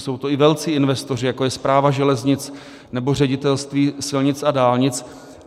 Jsou to i velcí investoři, jako je Správa železnic nebo Ředitelství silnic a dálnic.